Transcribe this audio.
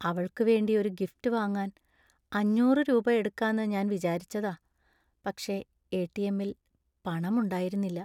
അവൾക്കു വേണ്ടി ഒരുഗിഫ്‌റ്റ് വാങ്ങാൻ അഞ്ഞൂറ് രൂപ എടുക്കാന്ന് ഞാൻ വിചാരിച്ചതാ. പക്ഷേ എ.ടി.എം. ൽ പണമുണ്ടായിരുന്നില്ല.